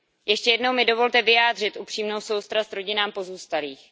Ještě jednou mi dovolte vyjádřit upřímnou soustrast rodinám pozůstalých.